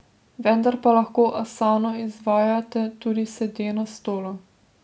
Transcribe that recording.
Vendar pa lahko asano izvajate tudi sede na stolu.